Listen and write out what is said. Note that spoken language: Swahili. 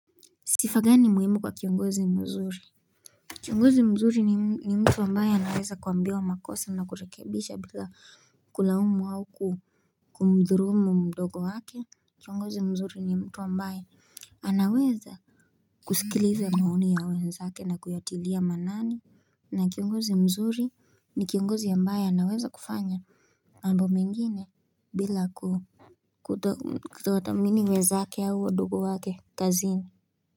Sifa gani muhimu kwa kiongozi mzuri Kiongozi mzuri ni mtu ambaye anaweza kuambiwa makosa na kurekebisha bila kulaumu au ku kumdhurumu mdogo wake Kiongozi mzuri ni mtu ambaye anaweza kusikiliza maoni ya wenzake na kuyatilia maanani na kiongozi mzuri ni kiongozi ambaye anaweza kufanya mambo mengine bila kuto kutowatamini wenzaake au wadogo wake kazini.